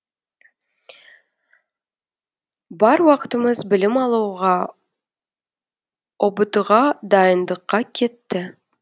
бар уақытымыз білім алуға ұбт ға дайындыққа кетті